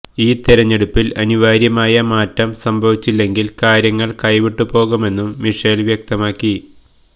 ഈ തിരഞ്ഞെടുപ്പില് അനിവാര്യമായ മാറ്റം സംഭവിച്ചില്ലെങ്കില് കാര്യങ്ങള് കൈവിട്ടുപോകുമെന്നും മിഷേല് വ്യക്തമാക്കി